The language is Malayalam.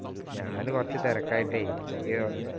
ഞാന് കുറച്ചു തിരക്കായിട്ടെ എനിക്ക്